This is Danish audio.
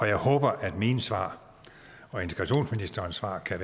jeg håber at mine svar og integrationsministerens svar er